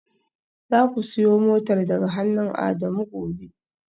Zaku siyo motar daga hannun Adamu gobe